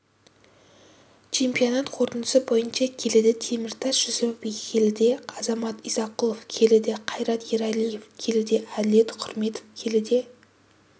чемпионат қорытындысы бойынша келіде теміртас жүсіпов келіде азамат исақұлов келіде қайрат ералиев келіде әділет құрметов келіде